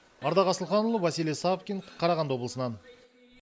ардақ асылханұлы василий савкин қарағанды облысынан